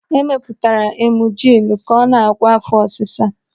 Emepụtara emujilu ka ọ na-agwọ áfọ́ ọsịsa.